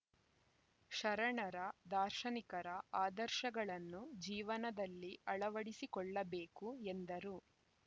ಶರಣರ ದಾರ್ಶನಿಕರ ಆದರ್ಶಗಳನ್ನು ಜೀವನದಲ್ಲಿ ಅಳವಡಿಸಿಕೊಳ್ಳಬೇಕು ಎಂದರು